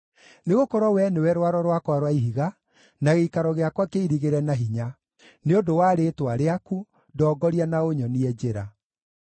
Nĩgũkorwo Wee nĩwe Rwaro rwakwa rwa Ihiga na gĩikaro gĩakwa kĩirigĩre na hinya, nĩ ũndũ wa rĩĩtwa rĩaku, ndongoria na ũnyonie njĩra.